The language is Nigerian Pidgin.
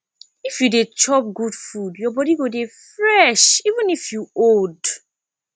if you dey chop good food your body go dey fresh even if you old